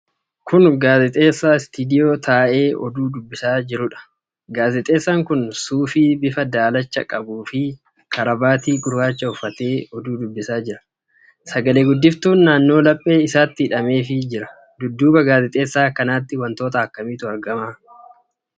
Kun gaazexeessaa istiidiyoo taa'ee oduu dubbisaa jiruudha. Gaazexeessaan kun suufii bifa daalacha qabuu fi karabaatii gurraacha uffatee oduu dubbisaa jira. Sagalee guddiftuun naannoo laphee isatti hidhameefii jira. Dudduuba gaazexeessaa kanaatti wantoota akkamiitu argama?